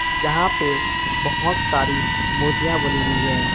यहां पे बहोत सारी मूर्तियां बनी हुई है।